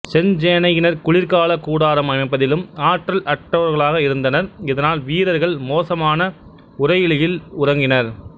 செஞ்சேனையினர் குளிர்கால கூடாரம் அமைப்பதிலும் ஆற்றல் அற்றவர்களாக இருந்தனர் இதனால் வீரர்கள் மோசமான உறையுளிலில் உறங்கினர்